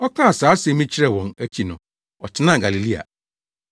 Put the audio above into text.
Ɔkaa saa asɛm yi kyerɛɛ wɔn akyi no ɔtenaa Galilea.